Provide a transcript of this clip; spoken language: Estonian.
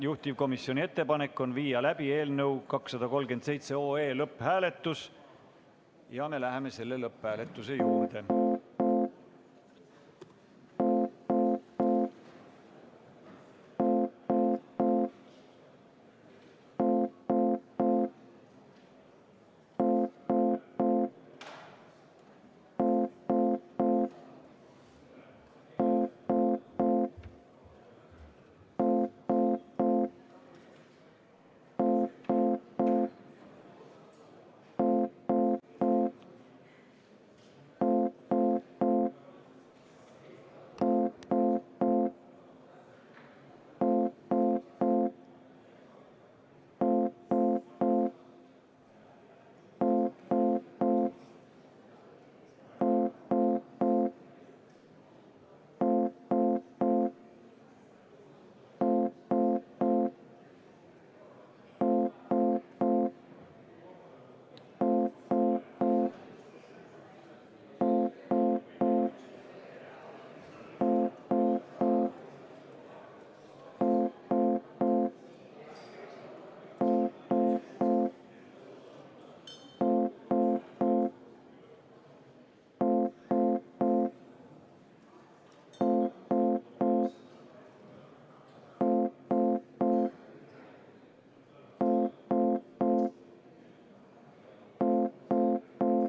Juhtivkomisjoni ettepanek on viia läbi eelnõu 237 lõpphääletus ja me läheme selle lõpphääletuse juurde.